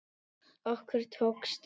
Okkur tókst það.